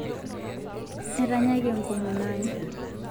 Etanyaki enkomono ai